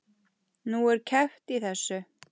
Nú, er keppt í þessu?